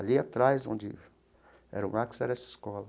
Ali atrás, onde era o Max, era essa escola.